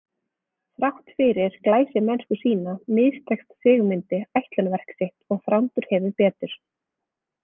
Þrátt fyrir glæsimennsku sína mistekst Sigmundi ætlunarverk sitt og Þrándur hefur betur.